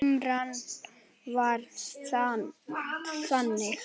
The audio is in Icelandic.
Limran var þannig: